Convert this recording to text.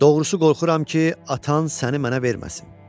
Doğrusu qorxuram ki, atan səni mənə verməsin.